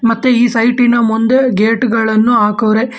ಮತ್ತೆ ಈ ಸೈಟಿ ನ ಮುಂದೆ ಗೇಟ್ ಗಳನ್ನು ಹಾಕವ್ರೆ.